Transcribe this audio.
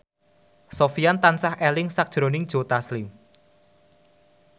Sofyan tansah eling sakjroning Joe Taslim